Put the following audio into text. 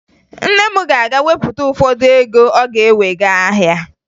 Nne m ga-aga wepụta ụfọdụ ego ọ ga-ewe gaa ahịa